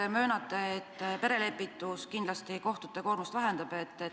Te möönate, et perelepitus kohtute koormust kindlasti vähendab.